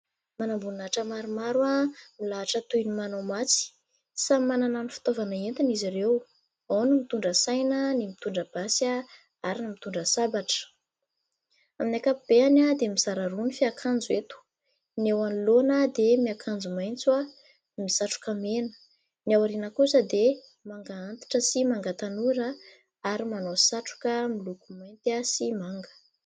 Manam-boninahitra maromaro, milahatra toy ny manao matso. Samy manana ny fitaovana entiny izy ireo : ao ny mitondra saina, ny mitondra basy ary ny mitondra sabatra. Amin'ny ankapobeny dia mizara roa ny fiakanjo eto : ny eo anoloana dia miakanjo maitso, misatroka mena ; ny ao aoriana kosa dia manga antitra sy manga tanora ary manao satroka miloko mainty sy manga.